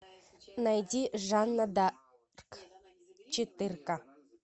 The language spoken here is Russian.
найди жанна дарк четырка